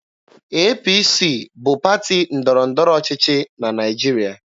APC bụ pati ndọrọ ndọrọ ọchịchị na Naịjirịa.